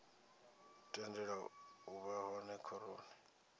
tendelwa u vha hone khoroni